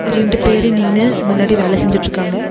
ரெண்டு பேரு நின்னு முன்னாடி வேல செஞ்சுட்டுருக்காங்க.